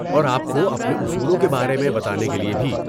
اور آپ کو اپنے اصولوں کے بارے میں بھی بتانے کے لیے بھی۔